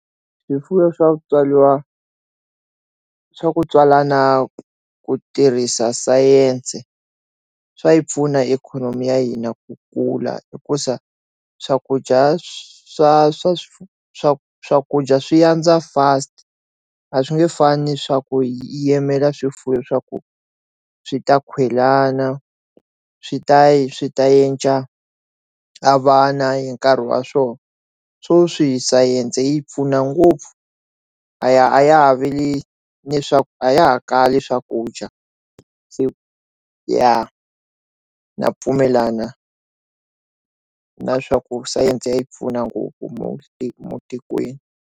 Swifuwo swa Ku tswariwa swa ku tswalana ku tirhisa sayense swipfuna ikhonomi ya hina ku kula hikuza swakudya swa swa swa swakudya swi yandza fast a swi nge fani swa ku yimela swifuwo swa ku swi ta khwelana swi ta swi ta endla a vana hi nkarhi wa swona swo swihi science yi pfuna ngopfu a ya a ya ha veli a ya ha kali swakudya se ya na pfumelana na swaku sayense yi pfuna ngopfu muti matikweni.